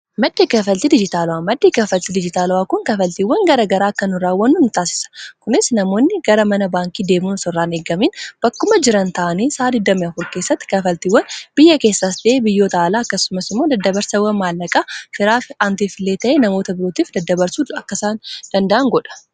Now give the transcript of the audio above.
maddi kafaltii dijitaala'aa maddii kafaltii dijitaala'aa kun kafaltiiwwan gara garaa akkan u raawwannuutaasisa kunis namoonni gara mana baankii deemuunsorraan eegamiin bakkuma jiran ta'anii saa 2flkeessatti kafaltiiwwan biyya keessaas deebiiyyoo tahalaa akkasumas moo daddabarsawwa maallaqaa firaa fi antifilee ta'ee namoota birootiif daddabarsuu akkasaan danda'an godha